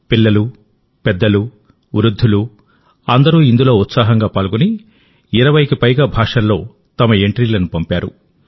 పిల్లలు పెద్దలు వృద్ధులు అందరూ ఇందులో ఉత్సాహంగా పాల్గొని 20కి పైగా భాషల్లో తమ ఎంట్రీలను పంపారు